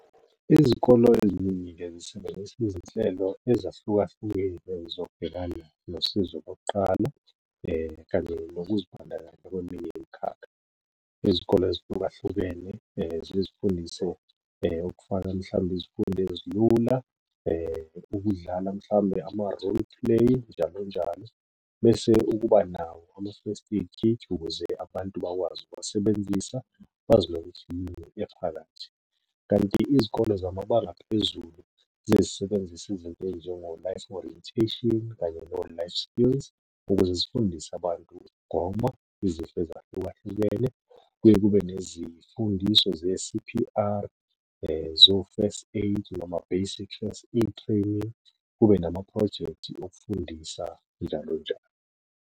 Izikolo eziningi-ke zisebenzisa izinhlelo ezahlukahlukene zokubhekana nosizo kokuqala kanye nokuzibandakanya kweminye imikhakha. Izikole ezihlukahlukene ziye izifundise ukufaka mhlawumbe izifundo ezilula ukudlala mhlawumbe ama-role play njalo njalo. Bese ukuba nawo ama-first aid kit ukuze abantu bakwazi ukuwasebenzisa bazi nokuthi yini ephakathi, kanti izikole zamabanga aphezulu ziyeke zisebenzise izinto ey'njengo-life orientation kanye no-life skills ukuze zifundise abantu ukugoma izifo ezahlukahlukene. Kuye kube nezifundiso ze-C_P_R, zo-first aid noma basic e-training, kube namaphrojekthi okufundisa njalo njalo.